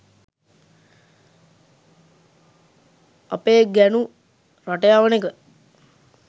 අපේ ගැනු රට යවනෙක